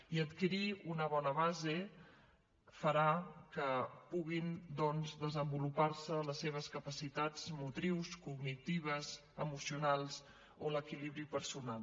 i adquirir una bona base farà que puguin doncs desenvolupar se les seves capacitats motrius cognitives emocionals o l’equilibri personal